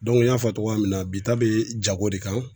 n y'a fɔ cogoya min na bi ta bi jago de kan.